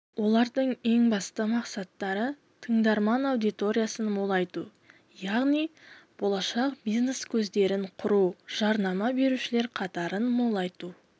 олардың ең басты мақсаттары тыңдарман аудиториясын молайту яғни болашақ бизнес көздерін құрау жарнама берушілер қатарын молайту